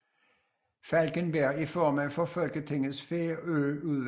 Falkenberg er formand for Folketingets Færøudvalg